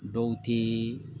Dɔw tɛ